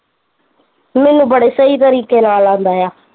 ਮੈਨੂੰ ਬੜੇ ਸਹੀ ਤਰੀਕੇ ਨਾਲ਼ ਆਉਂਦਾ ਆ